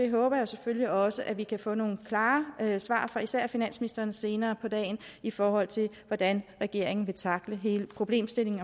håber selvfølgelig også at vi kan få nogle klare svar fra især finansministeren senere på dagen i forhold til hvordan regeringen vil tackle hele problemstillingen